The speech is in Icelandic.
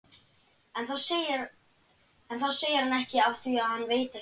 En það segir hann ekki afþvíað hann veit ekki neitt.